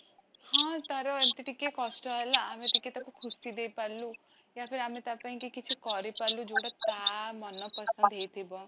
ହଁ ତାର ଏମିତି ଟିକେ କଷ୍ଟ ହେଲା, ଆମେ ଟିକେ ତାକୁ ଖୁସି ଦେଇ ପାରିଲୁ ଆମେ ତା ପାଇଁ କି କିଛି କରି ପାରିଲୁ ଯୋଟା ତା ମନ ପସନ୍ଦ ହେଇଥିବ